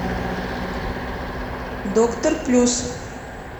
доктор плюс